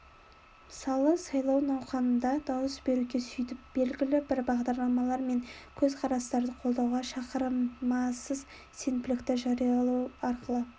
мысалы сайлау науқанында дауыс беруге сөйтіп белгілі бір бағдарламалар мен көзқарастарды қолдауға шақырамыз сенбілікті жариялау арқылы